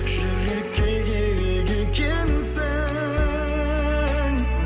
жүрекке керек екенсің